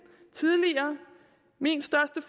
tidligere min største